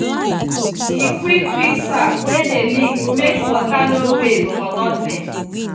e quick fix tap wey dey leak make water no waste for nothing.